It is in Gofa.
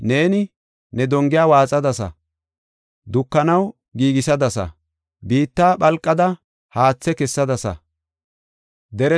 Neeni ne dongiya waaxadasa; dukanaw giigisadasa; biitta phalqada haathe kessadasa. Salaha